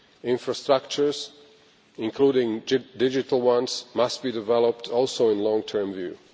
Infrastructures, including digital ones, must also be developed with a long-term view.